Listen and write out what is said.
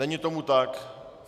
Není tomu tak.